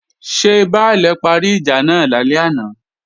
Ṣé Baálè parí ìjà náà lálẹ́ àná?